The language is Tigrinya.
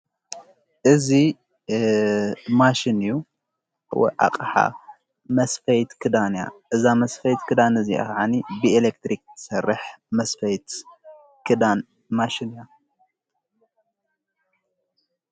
እዙ ማሽን ዩ ኣቕሓ መስፈይት ክዳን ያ እዛ መስፈይት ክዳነእዚ ኣኸዓኒ ብኤሌክትሪክ ሠርሕ መስፈይት ክዳን ማሽን እያ::